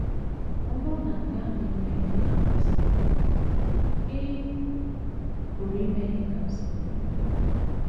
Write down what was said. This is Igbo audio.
Ọ bụrụ na nke ahụ emeghị ka ha kwụsị, ị pụrụ ime ihe Kamsi mere.